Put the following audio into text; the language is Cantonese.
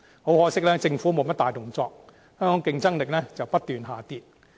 很可惜，政府沒有甚麼大動作，香港的競爭力卻不斷下跌。